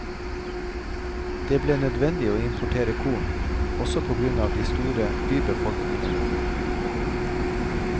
Det ble nødvendig å importere korn, også på grunn av de store bybefolkningene.